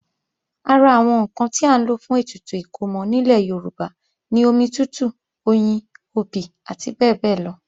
Ara àwọn ǹkan tí à ń lò fún ètùtù ìkómọ nílẹ̀ Yorùbá ni omi tútù, oyin, obì àti bẹ́ẹ̀bẹ́ẹ́lọ